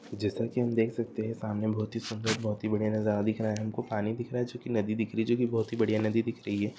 जैसा कि हम देख सकते हैं सामने बहुत ही सुन्दर बहुत ही बढ़िया नज़ारा दिख रहा है। हमको पानी दिख रहा है जो कि नदी दिख रही है। जो कि बहुत ही बढ़िया नदी दिख रही है।